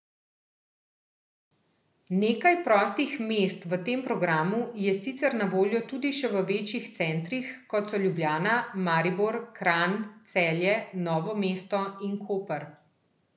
Nekaj prostih mest v tem programu je sicer na voljo tudi še v večjih centrih, kot so Ljubljana, Maribor, Kranj, Celje, Novo mesto in Koper.